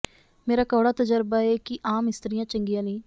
ਮੇਰਾ ਕੌੜਾ ਤਜਰਬਾ ਏ ਕਿ ਆਮ ਇਸਤ੍ਰੀਆਂ ਚੰਗੀਆਂ ਨਹੀਂ